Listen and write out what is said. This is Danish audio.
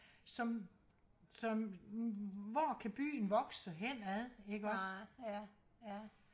som som hvor kan byen voksen hen ad ikke også